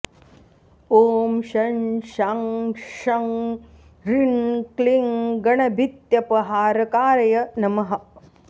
ॐ शं शां षं ह्रीं क्लीं गणभीत्यपहारकाय नमः